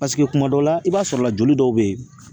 Paseke kuma dɔw la, i b'a sɔrɔ la joli dɔw bɛ ye